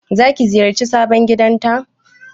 Zaki ziyarci sabon gidanta?